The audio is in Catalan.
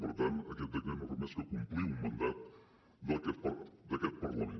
per tant aquest decret no fa més que complir un mandat d’aquest parlament